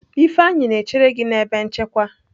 Ifeanyi na-echere gi na ebe nchekwa.